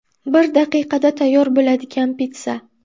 Bir daqiqada tayyor bo‘ladigan pitssa.